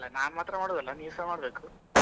ಅಲ್ಲ ನಾನ್ ಮಾತ್ರ ಮಾಡುವುದು ಅಲ್ಲ ನೀವುಸ ಮಾಡಬೇಕು.